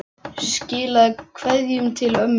Skilaðu kveðju til ömmu þinnar.